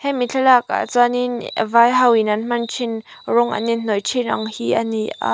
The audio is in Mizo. hemi thlalakah chuanin vai ho in an hman thin rawng an in hnawih thin ang hi ani a.